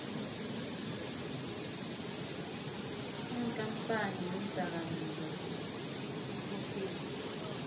iinkampani neendakamizwa icocane